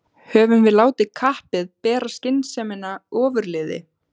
Höfum við látið kappið bera skynsemina ofurliði?